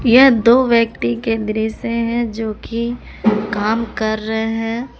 यह दो व्यक्ति के दृश्य हैं जोकि काम कर रहे है।